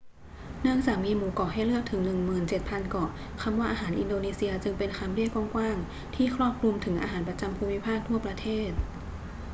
เนื่องจากมีหมู่เกาะให้เลือกถึง 17,000 เกาะ คำว่าอาหารอินโดนีเซียจึงเป็นคำเรียกกว้าง ๆ ที่ครอบคลุมถึงอาหารประจำภูมิภาคทั่วประเทศ